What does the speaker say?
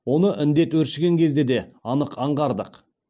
оны індет өршіген кезде де анық аңғардық